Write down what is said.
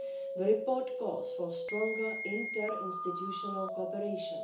The report calls for stronger interinstitutional cooperation.